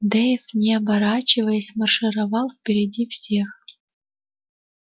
дейв не оборачиваясь маршировал впереди всех